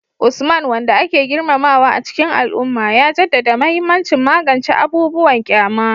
Usman, wanda ake girmamawa a cikin al'umma, ya jaddada mahimmancin magance abubuwan kyama